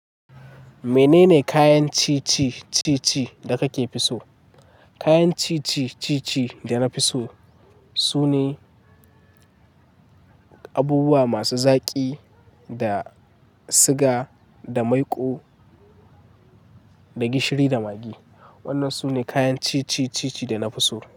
Menene kayan ciye-ciyaen daka fi so? Kayan ciye-ciyen da na fi so su ne abubuwa masu zaƙi da siga da maiƙo da gishiri da magi. Wanna su ne kayan ciye-ciyen da na fi so.